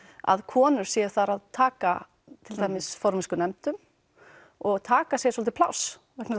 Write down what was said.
að konur séu þar að taka til dæmis formennsku í nefndum og taka sér svolítið pláss vegna